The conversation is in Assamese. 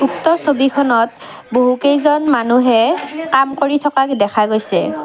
উক্ত ছবিখনত বহুকেইজন মানুহে কাম কৰি থকা দেখা গৈছে।